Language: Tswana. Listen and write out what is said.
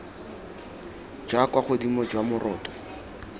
jwa kwa godimo jwa moroto